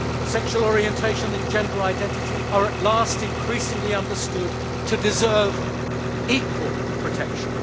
Sexual orientation and gender identity are at last increasingly understood to deserve equal protection.